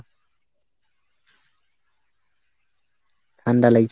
ঠান্ডা লাগছে।